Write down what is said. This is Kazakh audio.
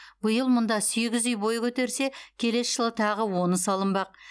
биыл мұнда сегіз үй бой көтерсе келесі жылы тағы оны салынбақ